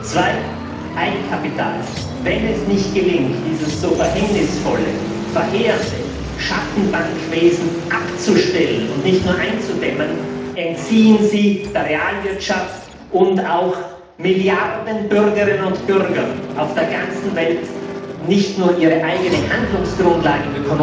Zweitens Eigenkapital Wenn es nicht gelingt, dieses so verhängnisvolle, verheerende Schattenbankwesen abzustellen und nicht nur einzudämmen, entziehen Sie der Realwirtschaft und auch Milliarden Bürgerinnen und Bürgern auf der ganzen Welt nicht nur ihre eigene ökonomische Handlungsgrundlage,